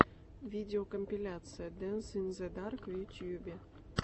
видеокомпиляция дэнс ин зе дарк в ютюбе